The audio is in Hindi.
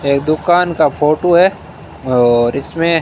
ये एक दुकान का फोटू है और इसमें--